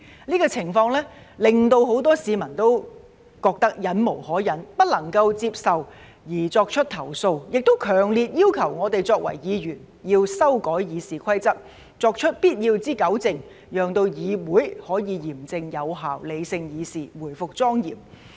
這種情況令很多市民都覺得忍無可忍、不能夠接受而作出投訴，也強烈要求我們作為議員要修改《議事規則》，作出必要的糾正，讓議會可以嚴正有效、理性議事、回復莊嚴。